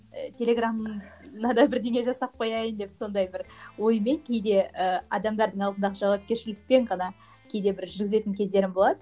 телеграмыма да бірдеңе жасап қояйын деп сондай бір оймен кейде ы адамдардың алдындағы жауапкершіліктен ғана кейде бір жүргізетін кездерім болады